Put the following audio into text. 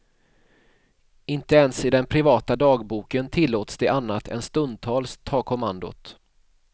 Inte ens i den privata dagboken tillåts de annat än stundtals ta kommandot.